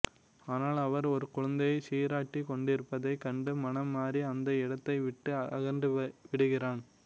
ஆனால் அவள் ஒரு குழந்தையைச் சீராட்டிக் கொண்டிருப்பதைக் கண்டு மனம் மாறி அந்த இடத்தை விட்டு அகன்று விடுகிறான்